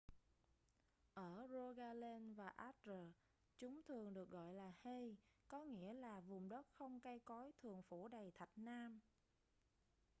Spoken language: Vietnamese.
ở rogaland và agder chúng thường được gọi là hei có nghĩa là vùng đất không cây cối thường phủ đầy thạch nam